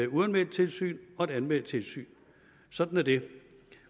uanmeldt tilsyn og et anmeldt tilsyn sådan er det